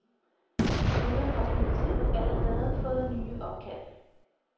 Desuden har politiet allerede fået nye opkald.